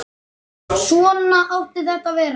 Svona átti þetta að vera.